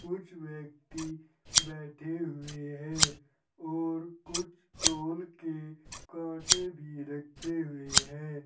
कुछ व्यक्ति बैठे हुए हैं और कुछ तौल के कांटे भी रखे हुए हैं।